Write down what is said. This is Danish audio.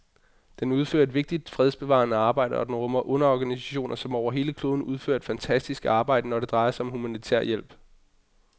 Den udfører et vigtigt fredsbevarende arbejde, og den rummer underorganisationer, som over hele kloden udfører et fantastisk arbejde, når det drejer sig om humanitær hjælp.